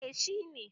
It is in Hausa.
Eh shi ne.